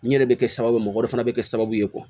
Nin yɛrɛ bɛ kɛ sababu ye mɔgɔ wɛrɛ fana bɛ kɛ sababu ye